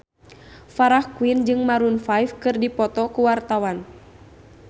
Farah Quinn jeung Maroon 5 keur dipoto ku wartawan